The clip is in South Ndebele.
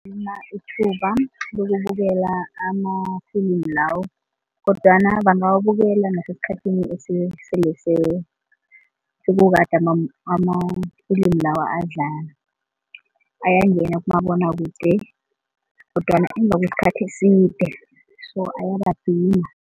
Ithuba lokubukela amafilimu lawo kodwana bangawubukela nasesikhathini esele sekukade amafilimi lawa adlala. Ayangena kumabonwakude kodwana emva kwesikhathi eside so ayabadima.